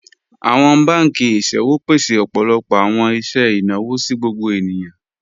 Awọn bankì iṣẹ̀wò pèsè ọpọlọpọ awọn iṣẹ̀ ináwọ̀ sí gbogbo ènìyàn.